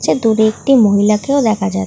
ছা দূরে একটি মহিলাকেও দেখা যা--